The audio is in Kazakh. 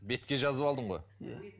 бетке жазып алдың ғой иә